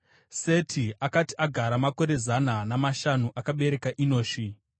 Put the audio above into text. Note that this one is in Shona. Seti akati agara makore zana namashanu, akabereka Enoshi.